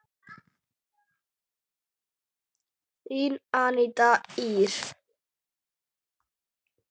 Þín Aníta Ýr.